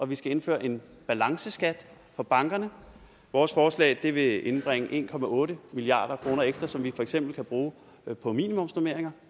vi skal indføre en balanceskat for bankerne vores forslag vil indbringe en milliard kroner ekstra som vi for eksempel kan bruge på minimumsnormeringer